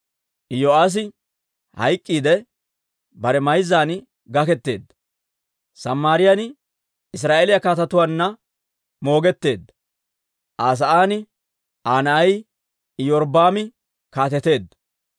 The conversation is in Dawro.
Iyo'aassi hayk'k'iidde, bare mayzzan gaketeedda; Samaariyaan Israa'eeliyaa kaatetuwaanna moogetteedda. Aa sa'aan Aa na'ay Iyorbbaami kaateteedda.